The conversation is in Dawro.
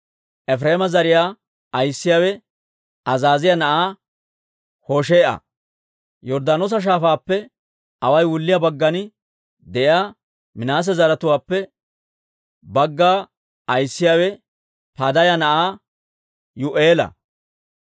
Efireema zariyaa ayissiyaawe Azaaziyaa na'aa Hoshee'a. Yorddaanoosa Shaafaappe away wulliyaa baggan de'iyaa Minaase zaratuwaappe bagga ayissiyaawe Padaaya na'aa Yuu'eela.